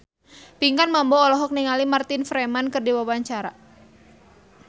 Pinkan Mambo olohok ningali Martin Freeman keur diwawancara